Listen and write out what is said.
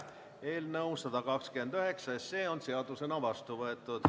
Eelnõu 129 on seadusena vastu võetud.